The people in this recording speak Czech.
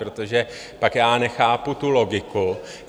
Protože pak já nechápu tu logiku.